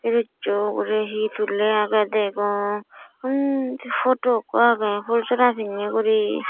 oniso guri he suley agey degong ondi poto eko agey pull sora piney guri.